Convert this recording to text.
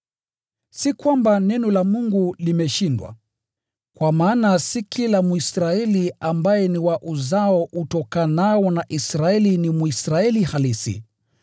Si kwamba Neno la Mungu limeshindwa. Kwa maana si kila Mwisraeli ambaye ni wa uzao utokanao na Israeli ni Mwisraeli halisi.